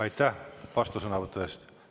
Aitäh vastusõnavõtu eest!